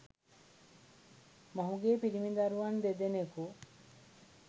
මොහුගේ පිරිමි දරුවන් දෙදෙනකු